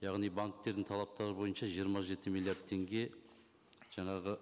яғни бантердің талаптары бойынша жиырма жеті миллиард теңге жаңағы